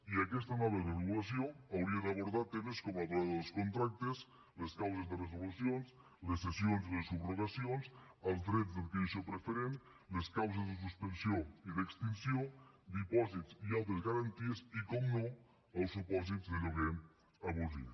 i aquesta nova regulació hauria d’abordar temes com la durada dels contractes les causes de resolucions les cessions i les subrogacions els drets d’adquisició preferent les causes de suspensió i d’extinció dipòsits i altres garanties i per descomptat els supòsits de lloguer abusiu